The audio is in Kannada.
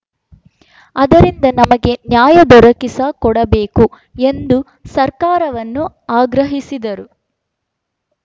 ಆದ್ದರಿಂದ ನಮಗೆ ನ್ಯಾಯ ದೊರಕಿಸಿಕೊಡಬೇಕು ಎಂದು ಸರ್ಕಾರವನ್ನು ಆಗ್ರಹಿಸಿದರು